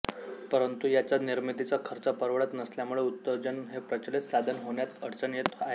परंतु याच्या निर्मितीचा खर्च परवडत नसल्यामुळे उदजन हे प्रचलित साधन होण्यात अडचण येत आहे